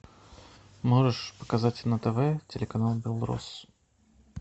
можешь показать на тв телеканал белрос